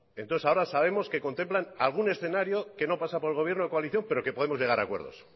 entonces ahora sabemos que contemplan algún escenario que no pasa por el gobierno de coalición pero que podemos llegar a acuerdos